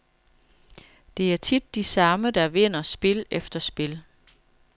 Det er tit de samme, der vinder spil efter spil.